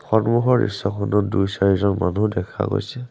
সন্মুখৰ দৃশ্যখনত দুই-চাৰিজন মানুহ দেখা গৈছে।